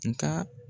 Nka